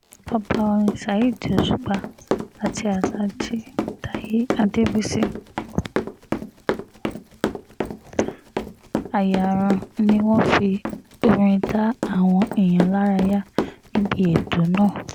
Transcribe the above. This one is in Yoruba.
ọba orin saheed òṣùpá àti alhaji taye adébísí ayaran ni wọ́n fi orin dá àwọn èèyàn lárayá níbi ètò náà